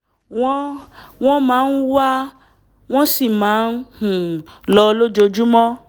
wọ́n wọ́n máa ń wá wọ́n sì máa ń um lọ lójúmọ́